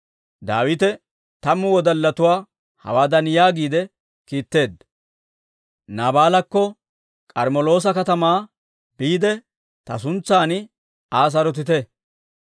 Daawite tammu wodallatuwaa hawaadan yaagiide kiitteedda; «Naabaalakko K'armmeloosa katamaa biide, ta suntsan Aa sarotite;